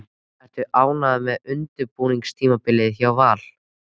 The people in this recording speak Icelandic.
Ertu ánægður með undirbúningstímabilið hjá Val?